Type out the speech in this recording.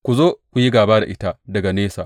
Ku zo ku yi gāba da ita daga nesa.